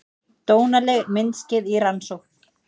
Dónaleg myndskeið í rannsókn